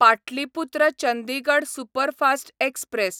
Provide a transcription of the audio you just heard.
Pataliputra Chandigarh superfast express